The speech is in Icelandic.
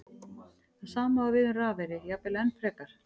Það sama á við um rafeyri, jafnvel enn frekar.